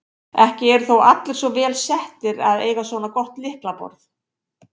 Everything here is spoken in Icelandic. Ekki eru þó allir svo vel settir að eiga svona gott lyklaborð.